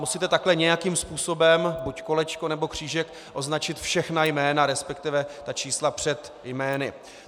Musíte takhle nějakým způsobem, buď kolečko, nebo křížek, označit všechna jména, respektive ta čísla před jmény.